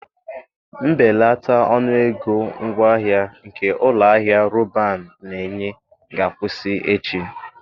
Mbelata ọnụ ego ngwaahịa nke ụlọ ahịa Roban na-enye ga-akwụsị echi.